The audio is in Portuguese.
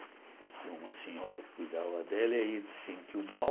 Tinha uma senhora que cuidava dela e ele se sentiu mal.